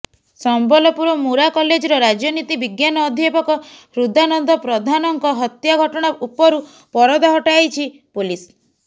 ସମ୍ବଲପୁର ମୁରା କଲେଜର ରାଜନୀତି ବିଜ୍ଞାନ ଅଧ୍ୟାପକ ହୃଦାନନ୍ଦ ପ୍ରଧାନଙ୍କ ହତ୍ୟା ଘଟଣା ଉପରୁ ପରଦା ହଟାଇଛି ପୋଲିସ